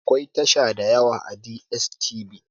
Akwai tasha dayawa a DSTV